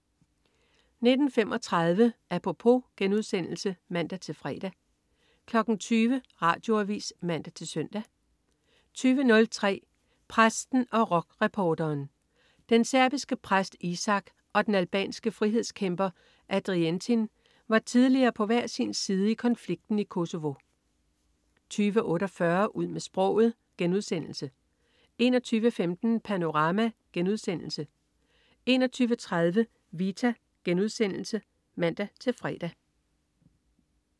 19.35 Apropos* (man-fre) 20.00 Radioavis (man-søn) 20.03 Præsten og rockreporteren. Den serbiske præst Isak og den albanske frihedskæmper Arientin var tidligere på hver sin side i konflikten i Kosovo 20.48 Ud med sproget* 21.15 Panorama* 21.30 Vita* (man-fre)